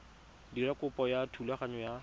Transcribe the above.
dira kopo ya thulaganyo ya